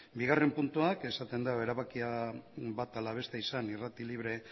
bigarren puntuak esaten da erabakia bat ala beste izan irrati libre